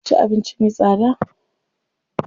Sun ci abinci me tsada.